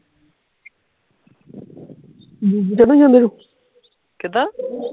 ਕਿੱਦਾਂ